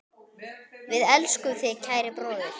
Við elskum þig, kæri bróðir.